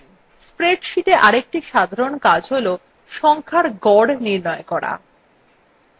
spreadsheet আরেকটি সাধারণ কাজ হল সংখ্যার গড় নির্ণয় করা